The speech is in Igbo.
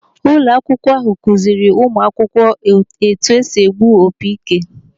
Ụlọ akwụkwọ ahụ kụziiri ụmụ akwụkwọ etu esi egbu opi ike.